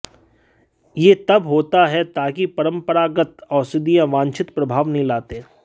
यह तब होता है ताकि परंपरागत औषधियों वांछित प्रभाव नहीं लाते